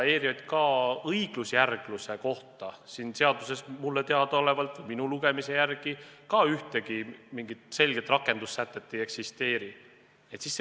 ERJK õigusjärgluse kohta siin eelnõus mulle teadaolevalt, nii palju kui ma siit välja lugesin, ühtegi selget rakendussätet ei eksisteeri.